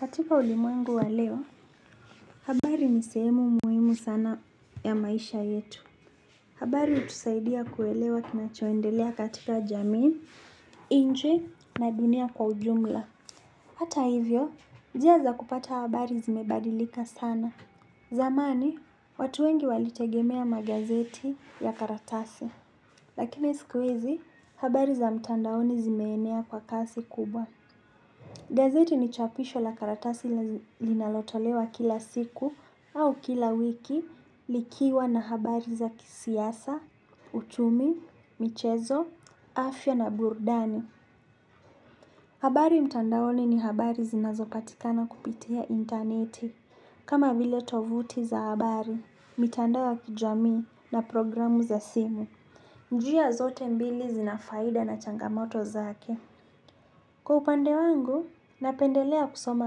Katika ulimwengu waleo, habari nisehemu muhimu sana ya maisha yetu. Habari utusaidia kuelewa kinachoendelea katika jamii, inchi na dunia kwa ujumla. Hata hivyo, jia za kupata habari zimebadilika sana. Zamani, watu wengi walitegemea magazeti ya karatasi. Lakina siku hizi, habari za mtandaoni zimeenea kwa kasi kubwa. Gazeti ni chapisho la karatasi linalotolewa kila siku au kila wiki likiwa na habari za kisiasa, uchumi, michezo, afya na burudani. Habari mtandaoni ni habari zinazopatikana kupitia interneti. Kama vile tovuti za habari, mitandao ya kijamii na programu za simu. Njia zote mbili zinafaida na changamoto zake. Kwa upande wangu, napendelea kusoma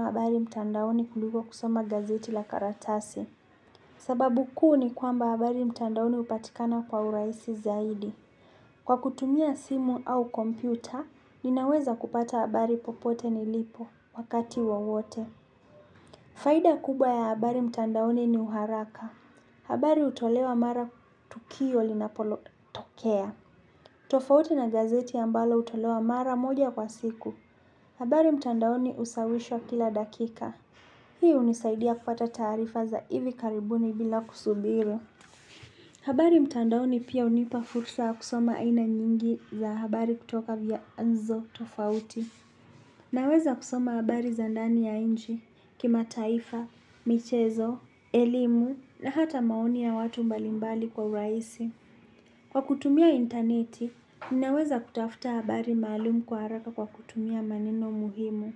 habari mtandaoni kuliko kusoma gazeti la karatasi. Sababu kuu ni kwamba habari mtandaoni upatikana kwa urahisi zaidi. Kwa kutumia simu au kompyuta, ninaweza kupata habari popote nilipo, wakati wowote. Faida kubwa ya habari mtandaoni ni uharaka. Habari utolewa mara tukio linapolo tokea. Tofauti na gazeti ambalo utolewa mara moja kwa siku. Habari mtandaoni usawishwa kila dakika. Hii unisaidia kupata taarifa za hivi karibuni bila kusubira. Habari mtandaoni pia unipa fursa ya kusoma aina nyingi za habari kutoka vya nzo tofauti. Naweza kusoma habari zandani ya inji, kima taifa, michezo, elimu na hata maoni ya watu mbalimbali kwa uraisi. Kwa kutumia interneti, ninaweza kutafuta habari maalum kwa haraka kwa kutumia maneno muhimu.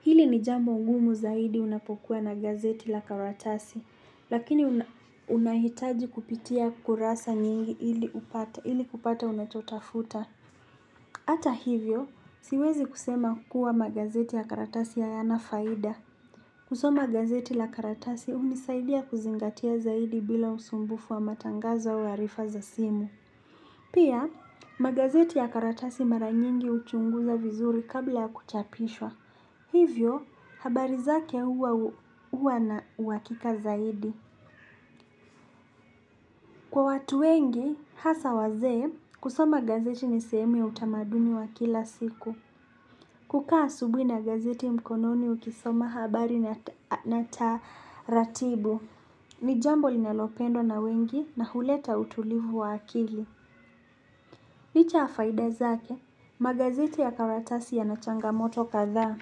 Hili nijambo ngumu zaidi unapokuwa na gazeti la karatasi, lakini unahitaji kupitia kurasa nyingi ili kupata unachotafuta. Ata hivyo, siwezi kusema kuwa magazeti ya karatasi hayanafaida. Kusoma gazeti la karatasi unisaidia kuzingatia zaidi bila usumbufu wa matangazo au harifa za simu. Pia, magazeti ya karatasi mara nyingi uchunguza vizuri kabla ya kuchapishwa. Hivyo, habari zake huwa na uhakika zaidi. Kwa watu wengi, hasa wazee, kusoma gazeti nisehemu ya utamaduni wa kila siku. Kukaa asubui na gazeti mkononi ukisoma habari na taratibu. Nijambo linalopendwa na wengi na huleta utulivu wa akili. Licha ya faida zake, magazeti ya karatasi ya nachanga moto kathaa.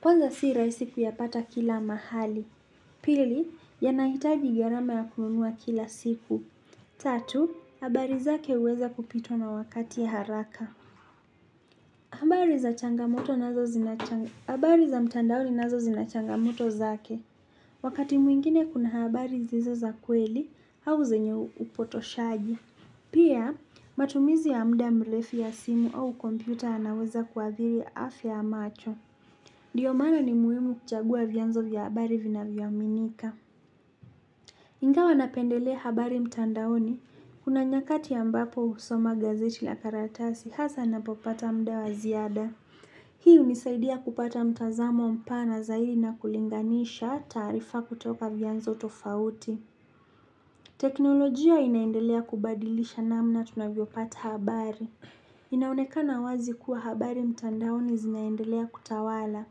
Kwanza si rahisi ku ya pata kila mahali. Pili, yanahitaji gharama ya kununua kila siku. Tatu, habari zake uweza kupitwa na wakati ya haraka. Habari za mtandaoni nazo zinachanga moto zake. Wakati mwingine kuna habari zizo za kweli, au zenye upoto shaji. Pia, matumizi ya mda mrefu ya simu au kompyuta yanaweza kuadhiri afya ya macho. Ndiyo maana ni muhimu kuchagua vyanzo vya habari vina vyoaminika. Ingawa napendelea habari mtandaoni kuna nyakati a mbapo husoma gazeti la karatasi hasa napopata mda wa ziada. Hii unisaidia kupata mtazamo mpana zaidi na kulinganisha taarifa kutoka vyanzo tofauti. Teknolojia inaendelea kubadilisha namna tunavyopata habari. Inaonekana wazi kuwa habari mtandaoni zinaendelea kutawala.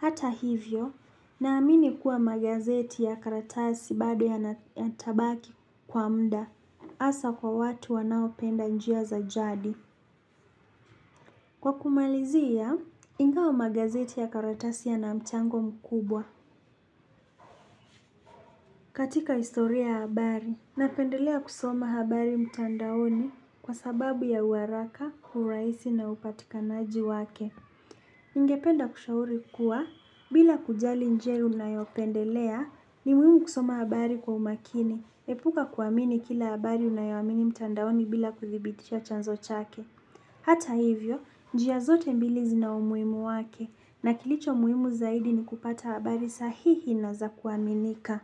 Hata hivyo, naamini kuwa magazeti ya karatasi bado ya na yatabaki kwa mda. Asa kwa watu wanao penda njia za jadi. Kwa kumalizia, ingawa magazeti ya karatasi yanamchango mkubwa katika historia ya habari napendelea kusoma habari mtandaoni kwa sababu ya uharaka, uraisi na upatikanaji wake. Ningependa kushauri kuwa bila kujali njia unayopendelea ni muhimu kusoma habari kwa umakini. Epuka kuamini kila habari unayoamini mtandaoni bila kudhibitisha chanzo chake. Hata hivyo, njia zote mbili zi na umuhimu wake na kilicho muhimu zaidi ni kupata habari sahihi na za kuaminika.